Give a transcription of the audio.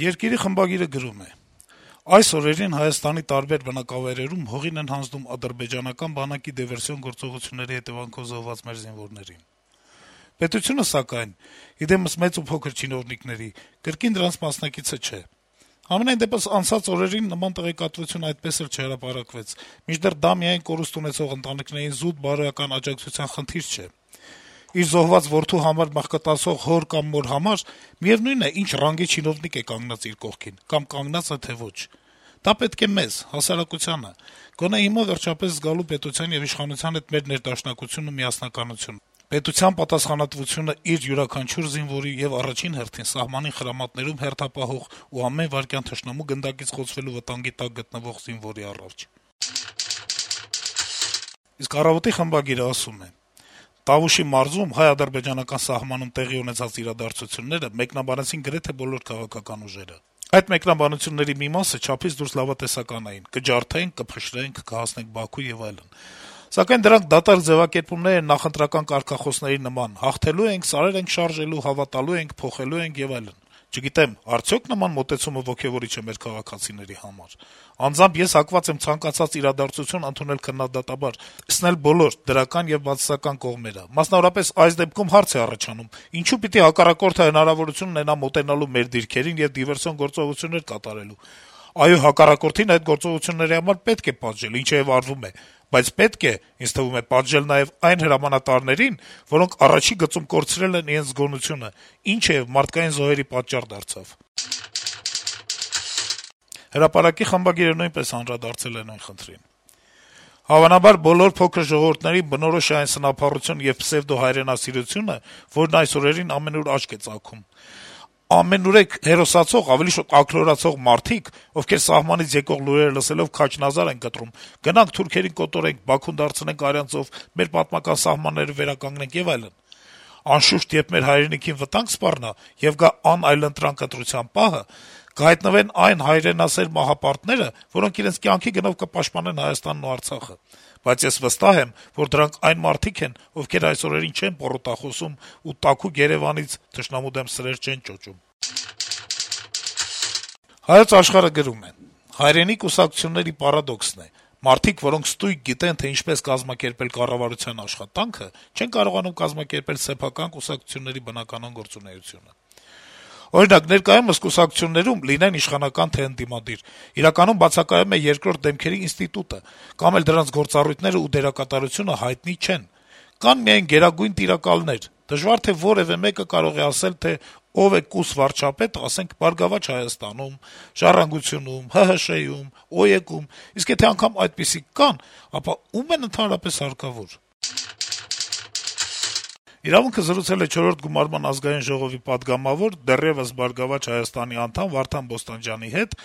«Երկիր»-ի խմբագիրը գրում է. - «Այս օրերին Հայաստանի տարբեր բնակավայրերում հողին են հանձնում ադրբեջանական բանակի դիվերսիոն գործողությունների հետեւանքով զոհված մեր զինվորներին: Պետությունը, սակայն, ի դեմս մեծ ու փոքր չինովնիկների, կրկին դրանց մասնակիցը չէ: Համենայն դեպս, անցած օրերին նման տեղեկատվություն այդպես էլ չհրապարակվեց: Մինչդեռ դա միայն կորուստ ունեցող ընտանիքներին զուտ բարոյական աջակցության խնդիր չէ: Իր զոհված որդու համար մղկտացող հոր կամ մոր համար միեւնույն է` ինչ ռանգի չինովնիկ է կանգնած իր կողքին, կամ կանգնա՞ծ է, թե՞ ոչ: Դա պետք է մեզ` հասարակությանը` գոնե հիմա վերջապես զգալու պետության եւ իշխանության հետ մեր ներդաշնակությունն ու միասնականությունը, պետության պատասխանատվությունն իր յուրաքանչյուր զինվորի եւ առաջին հերթին` սահմանին խրամատներում հերթապահող ու ամեն վայրկյան թշնամու գնդակից խոցվելու վտանգի տակ գտնվող զինվորի առջեւ»: «Առավոտ»-ի խմբագիրը գրում է. - «Տավուշի մարզում՝ հայ-ադրբեջանական սահմանում տեղի ունեցած իրադարձությունները մեկնաբանեցին գրեթե բոլոր քաղաքական ուժերը: Այդ մեկնաբանությունների մի մասը չափից դուրս լավատեսական էին՝ կջարդենք, կփշրենք, կհասնենք Բաքու եւ այլն: Դրանք դատարկ ձեւակերպումներ են նախընտրական կարգախոսների նման՝ հաղթելու ենք, սարեր ենք շարժելու, հավատալու ենք, փոխելու ենք եւ այլն: Չգիտեմ՝ արդյոք նման մոտեցումը ոգեւորի՞չ է մեր քաղաքացիների համար: Անձամբ ես հակված եմ ցանկացած իրադարձություն ընդունել քննադատաբար, տեսնել բոլոր՝ դրական եւ բացասական կողմերը: Մասնավորապես, այս դեպքում հարց է առաջանում՝ ինչո՞ւ պիտի հակառակորդը հնարավորություն ունենա մոտենալու մեր դիրքերին եւ դիվերսիոն գործողություններ կատարելու: Այո, հակառակորդին այդ գործողությունների համար պետք է պատժել, ինչը եւ արվում է: Բայց պետք է, ինձ թվում է, պատժել նաեւ այն հրամանատարներին, որոնք առաջին գծում կորցրել են իրենց զգոնությունը, ինչը եւ մարդկային զոհերի պատճառ դարձավ»: «Հրապարակ»-ի խմբագիրը նույնպես անդրադարձել է նույն խնդրին. - «Հավանաբար բոլոր փոքր ժողովուրդներին է բնորոշ այն սնափառությունն ու պսեւդոհայրենասիրությունը, որն այս օրերին ամենուր աչք է ծակում: Ամենուրեք հերոսացող, ավելի շուտ՝ աքլորացող մարդիկ, ովքեր, սահմանից եկող լուրերը լսելով, «քաջ նազար» են կտրում՝ գնանք թուրքին կոտորենք, Բաքուն դարձնենք արյան ծով, մեր պատմական սահմանները վերականգնենք եւ այլն: Անշուշտ, երբ մեր հայրենիքին վտանգ սպառնա, եւ գա անայլընտրանք ընտրության պահը, կհայտնվեն այն հայրենասեր «մահապարտները», որոնք իրենց կյանքի գնով կպաշտպանեն Հայաստանն ու Արցախը: Բայց ես վստահ եմ, որ դրանք այն մարդիկ են, ովքեր այս օրերին չեն պոռոտախոսում ու տաքուկ Երեւանից թշնամու դեմ սրեր չեն ճոճում»: «Հայոց աշխարհ»-ը գրում է. - «Հայրենի կուսակցությունների պարադոքսն է. մարդիկ, որոնք ստույգ գիտեն, թե ինչպես կազմակերպել կառավարության աշխատանքը, չեն կարողանում կազմակերպել սեփական կուսակցությունների բնականոն գործունեությունը։ Օրինակ, ներկայումս կուսակցություններում, լինեն իշխանական թե ընդդիմադիր, իրականում բացակայում է «երկրորդ դեմքերի» ինստիտուտը կամ էլ նրանց գործառույթներն ու դերակատարությունը հայտնի չեն։ Կան միայն գերագույն տիրակալներ։ Դժվար թե որեւէ մեկը կարող է ասել, թե ով է «կուսվարչապետը», ասենք, «Բարգավաճ Հայաստանում», «Ժառանգությունում», ՀՀՇ-ում, ՕԵԿ-ում, իսկ եթե անգամ այդպիսիք կան, ապա ո՞ւմ են ընդհանրապես հարկավոր»: «Իրավունք»-ը զրուցել է չորրորդ գումարման Ազգային ժողովի պատգամավոր, դեռեւս «Բարգավաճ Հայաստան»-ի անդամ Վարդան Բոստանջյանի հետ,